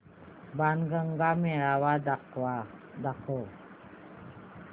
बाणगंगा मेळावा दाखव